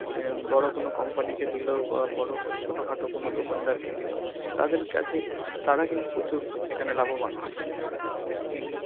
অ্যাঁ বড় কোন company কে দিল বা বড় কোন~ ছোটখাটো কোন দোকানদারকে দিল, তাদের কাছে~ তারা কিন্তু প্রচুর এখানে লাভবান হয় basically